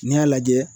N'i y'a lajɛ